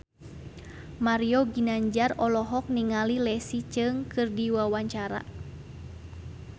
Mario Ginanjar olohok ningali Leslie Cheung keur diwawancara